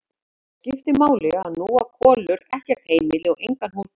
Og það skiptir máli að nú á Kolur ekkert heimili og engan húsbónda.